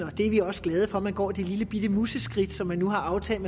vi er også glade for at man går det lillebitte museskridt som man nu har aftalt